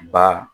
Ba